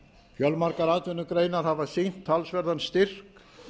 fjölmargar atvinnugreinar hafa sýnt talsverðan styrk